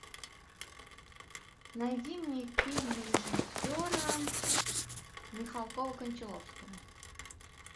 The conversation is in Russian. найди мне фильм режиссера михалкова кончаловского